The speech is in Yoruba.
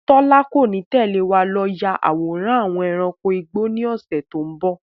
Tọ́lá kò ní lè tẹ̀lé wá lọ yà àwòrán àwọn ẹranko igbó ni ọ̀sẹ̀ tòun bọ̀